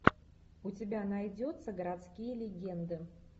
у тебя найдется городские легенды